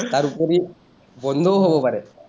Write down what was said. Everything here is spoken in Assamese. তাৰ ওপৰি বন্ধও হ’ব পাৰে।